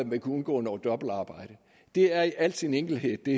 ville kunne undgå noget dobbeltarbejde det er i al sin enkelhed det